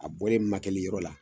A bɔlen makɛli yɔrɔ la